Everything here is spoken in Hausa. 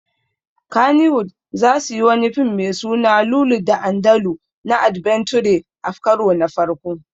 Kannywood zasuyi wani fim me suna Lulu da Andalu na adbenture a karo na farko